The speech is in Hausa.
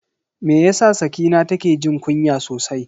Me yasa Sakina take jin kunya sosai?